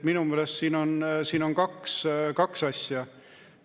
Minu meelest siin on kaks asja.